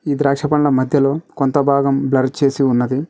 ఇది ద్రాక్ష పండ్ల మధ్యలో కొంత భాగం బ్లర్ చేసి ఉన్నది.